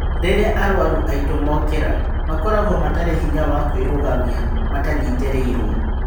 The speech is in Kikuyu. Rĩrĩa arũaru aitũ mokĩra, makoragwo matarĩ hinya wa kũĩrũgamia matanyitĩrĩirwo.